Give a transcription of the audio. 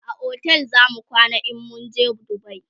a otel zamu kwana in mun je dubai